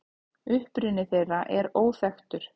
Uppruni þeirra er óþekktur.